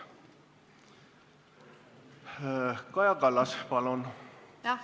Kaja Kallas, palun!